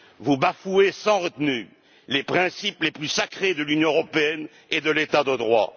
Vous bafouez sans retenue les principes les plus sacrés de l'Union européenne et de l'état de droit.